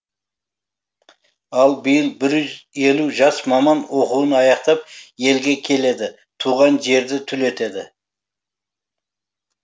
ал биыл бір елу жас маман оқуын аяқтап елге келеді туған жерді түлетеді